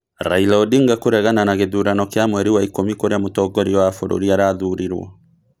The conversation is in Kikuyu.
Raila Odinga kũregana na gĩthurano kĩa mweri wa ikũmi kũrĩa Mũtongoria wa bũrũri arathurirwo